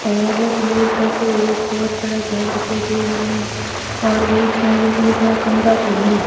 और दूर तक एक बहोत बड़ा घर दिखाई दे रहा है और बीच में बिजली का खंबा भी है।